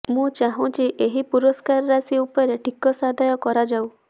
ମୁଁ ଚାହୁଛି ଏହି ପୁରସ୍କାର ରାଶି ଉପରେ ଟିକସ ଆଦାୟ କରାଯାଉ